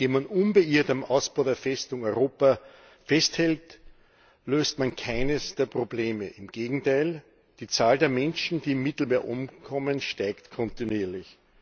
Indem man unbeirrt am Ausbau der Festung Europa festhält, löst man keines der Probleme, im Gegenteil Die Zahl der Menschen, die im Mittelmeer umkommen, steigt kontinuierlich.